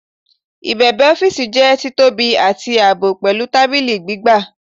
Ibebe ọfiisi jẹ titobi ati aabọ, pẹlu tabili gbigba